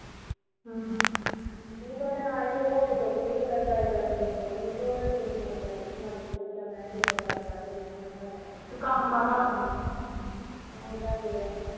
ਹਮ ਤੇ ਕੀ ਪਤਾ ਨਾ ਈ show ਹੋਵੇ ਸੁਖ ਈ ਰੱਖੇ ਤੇ ਮੈਂ try ਕਰਕੇ ਦੇਖ ਲੈਂਦੀ ਆ ਤੇ ਉਹੋ ਮੈਂ ਕੁੜੀ ਨੂੰ phone ਕਰਨ ਡਈ ਆ ਵੀ ਆਜਾਂ ਚੱਲੀਏ ਭਲਾ ਠੇਕੇਦਾਰ ਬਾਹਰ ਬੈਠਾ ਹੁਣਾ ਕੰਮ ਤਾਂਜੇ ਦਾ ਈ